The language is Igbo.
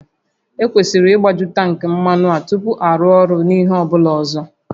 Ekwesịrị ịgbaju tankị mmanụ a tupu arụ ọrụ n'ihe ọ bụla ọzọ